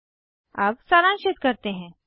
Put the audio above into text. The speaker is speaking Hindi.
अब सारांशित करते हैं